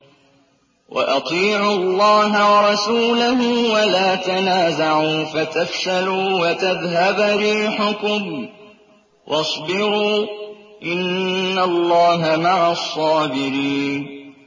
وَأَطِيعُوا اللَّهَ وَرَسُولَهُ وَلَا تَنَازَعُوا فَتَفْشَلُوا وَتَذْهَبَ رِيحُكُمْ ۖ وَاصْبِرُوا ۚ إِنَّ اللَّهَ مَعَ الصَّابِرِينَ